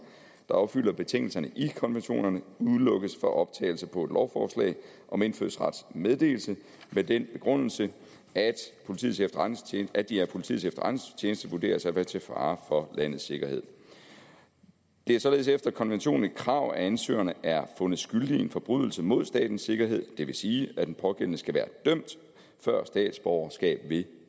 der opfylder betingelserne i konventionerne udelukkes fra optagelse på et lovforslag om indfødsrets meddelelse med den begrundelse at at de af politiets efterretningstjeneste vurderes at være til fare for landets sikkerhed det er således efter konventionen et krav at ansøgerne er fundet skyldige i en forbrydelse mod statens sikkerhed det vil sige at den pågældende skal være dømt før statsborgerskab vil